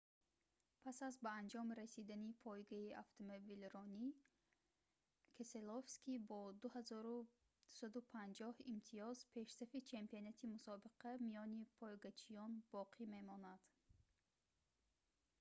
пас аз ба анҷом расидани пойгаи автомобилронӣ кеселовский бо 2250 имтиёз пешсафи чемпионати мусобиқа миёни пойгачиён боқӣ мемонад